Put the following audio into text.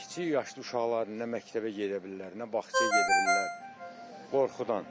Kiçik yaşlı uşaqlar nə məktəbə gedə bilirlər, nə bağçaya gedə bilirlər qorxudan.